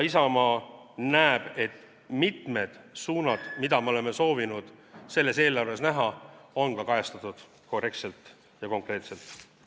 Isamaa näeb, et mitmed suunad, mida me oleme soovinud selles eelarves näha, on ka kajastatud korrektselt ja konkreetselt.